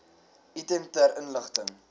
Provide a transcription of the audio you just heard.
item ter inligting